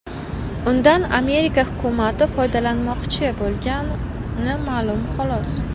Undan Amerika hukumati foydalanmoqchi bo‘lgani ma’lum, xolos.